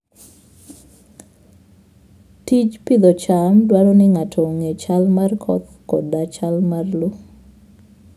Tij pidho cham dwaro ni ng'ato ong'e chal mar koth koda chal mar lowo.